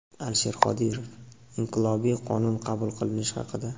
Alisher Qodirov – "Inqilobiy" qonun qabul qilinishi haqida.